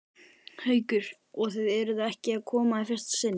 Haukur: Og þið eruð ekki að koma í fyrsta sinn?